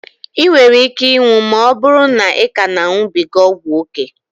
I nwere ike ịnwụ ma ọbụrụ na ị ka na a ṅubiga ọgwụ ókè